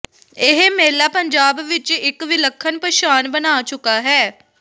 ਇਹ ਮੇਲਾ ਪੰਜਾਬ ਵਿਚ ਇਕ ਵਿਲੱਖਣ ਪਛਾਣ ਬਣਾ ਚੁੱਕਾ ਹੈ